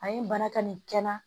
A ye bana ka nin kɛ n na